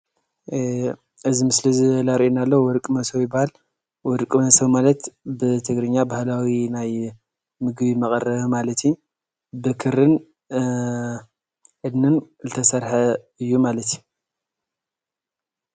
እዚ ምስሊ ዘርእየና ዘሎ ወርቂ ሞሶብ ይባሃል፡፡ ወርቅ መሶብ ማለት ብትግርኛ ባህላዊ ናይ ምግቢ መቐረቢ ማለት እዩ ፡፡ ብክሪን እድንን ዝተሰርሐ እዩ ማለት እዩ፡፡